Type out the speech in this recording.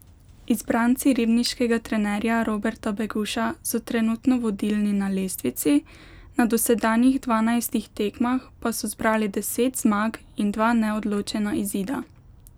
Izbranci ribniškega trenerja Roberta Beguša so trenutno vodilni na lestvici, na dosedanjih dvanajstih tekmah pa so zbrali deset zmag in dva neodločena izida.